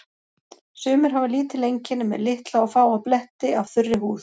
Sumir hafa lítil einkenni með litla og fáa bletti af þurri húð.